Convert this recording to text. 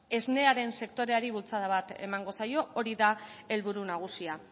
esnearen sektoreari bultzada emango zaio hori da helburu nagusia